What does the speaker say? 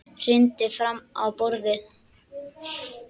Hrindir fram á borðið.